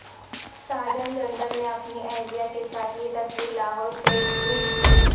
ساجن جندل نے اپنی اہلیہ کے ساتھ یہ تصویر لاہور سے ٹویٹ کی